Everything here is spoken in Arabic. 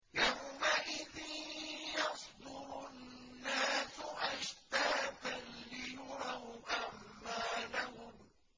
يَوْمَئِذٍ يَصْدُرُ النَّاسُ أَشْتَاتًا لِّيُرَوْا أَعْمَالَهُمْ